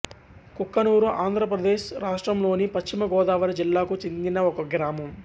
కుక్కునూరు ఆంధ్రప్రదేశ్ రాష్ట్రంలోని పశ్చిమ గోదావరి జిల్లాకు చెందిన ఒక గ్రామం